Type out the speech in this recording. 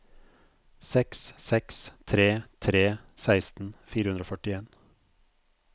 seks seks tre tre seksten fire hundre og førtien